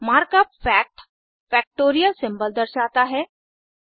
mark up fact factorial symbol दर्शाता है